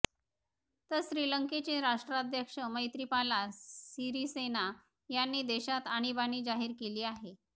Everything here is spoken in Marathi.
तर श्रीलंकेचे राष्ट्रध्यक्ष मैत्रीपाला सिरीसेना यांनी देशात आणीबाणी जाहीर केली आहे